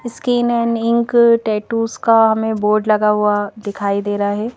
Skin and ink tattoos का हमें board लगा हुआ दिखाई दे रहा है।